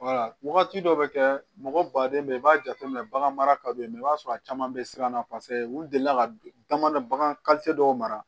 wagati dɔ bɛ kɛ mɔgɔ baden bɛ yen i b'a jateminɛ bagan mara bɛ mɛ i b'a sɔrɔ a caman bɛ siran a na paseke u delila ka dama dɔ bagan dɔw mara